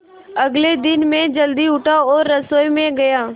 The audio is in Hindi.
अगले दिन मैं जल्दी उठा और रसोई में गया